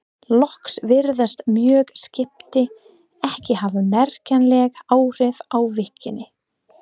Loks virðast mörg skipti ekki hafa merkjanleg áhrif á virknina.